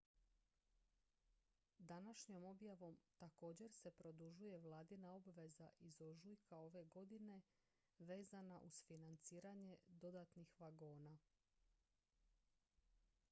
današnjom objavom također se produžuje vladina obveza iz ožujka ove godine vezana uz financiranje dodatnih vagona